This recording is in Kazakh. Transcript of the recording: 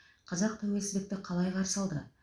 қазақ тәуелсіздікті қалай қарсы алды